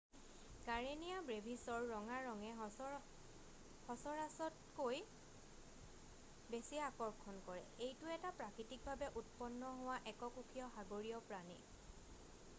Karenia ব্ৰেভিছৰ ৰঙা ৰঙে সচৰাচৰতকৈ বেছি আকৰ্ষণ কৰে এইটো এটা প্ৰাকৃতিকভাৱে উৎপন্ন হোৱা এককোষীয় সাগৰীয় প্ৰাণী